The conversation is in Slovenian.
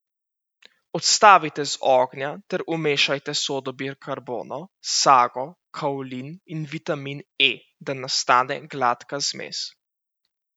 Odstavite z ognja ter umešajte sodo bikarbono, sago, kaolin in vitamin E, da nastane gladka zmes.